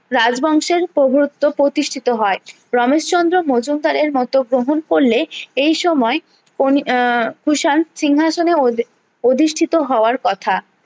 রাজ বংশের প্রভুত্ব প্রতিষ্ঠিত হয় রমেশচন্দ্র মজুমদারের মতো গ্রহণ করলে এই সময়ে আহ কুষাণ সিংহাসনে অধি অধিষ্ঠিত হওয়ার কথা